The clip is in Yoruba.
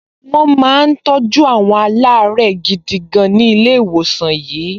Àwọn ---- máa ń gba ìtọ́jú tó péye ní ilé ìwòsàn tí wọ́n lo ògùn bó ti yẹ